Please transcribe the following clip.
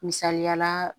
Misaliyala